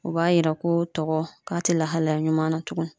O b'a yira ko tɔgɔ k'a tɛ lahalaya ɲuman na tuguni.